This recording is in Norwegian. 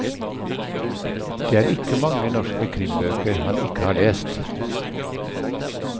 Det er ikke mange norske krimbøker han ikke har lest.